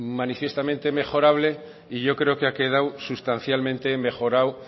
manifiestamente mejorable y yo creo que ha quedado sustancialmente mejorado